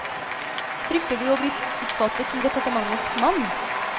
Frykter du å bli oppfattet som departementets mann?